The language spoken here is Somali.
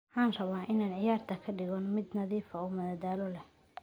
Waxaan rabaa inaan ciyaartaan ka dhigo mid nadiif ah oo madadaalo leh.